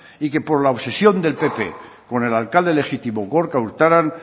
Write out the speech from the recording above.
y que por la obsesión del pp con el alcalde legítimo gorka urtaran